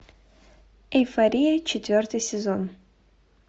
эйфория четвертый сезон